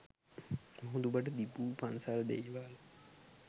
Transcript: මුහුදුබඩ තිබු පන්සල් දේවල